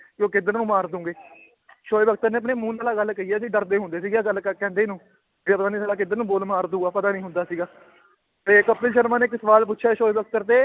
ਵੀ ਉਹ ਕਿੱਧਰ ਨੂੰ ਮਾਰ ਦਓਗੇ ਸੋਏ ਬਖਤਰ ਨੇ ਆਪਣੇ ਮੂੰਹ ਨਾਲ ਆਹ ਗੱਲ ਕਹੀ ਹੈ ਅਸੀਂ ਡਰਦੇ ਹੁੰਦੇ ਸੀਗੇ ਆਹ ਗੱਲ ਕ~ ਕਹਿੰਦੇ ਨੂੰ, ਵੀ ਆਹ ਪਤਾ ਨੀ ਸਾਲਾ ਕਿੱਧਰ ਨੂੰ ਬਾਲ ਮਾਰ ਦਊਗਾ ਪਤਾ ਨੀ ਹੁੰਦਾ ਸੀਗਾ ਤੇ ਕਪਿਲ ਸ਼ਰਮਾ ਨੇ ਇੱਕ ਸਵਾਲ ਪੁੱਛਿਆ ਸੋਏ ਬਖਤਰ ਤੇ